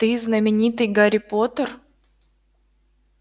ты знаменитый гарри поттер